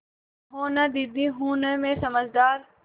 कहो न दीदी हूँ न मैं समझदार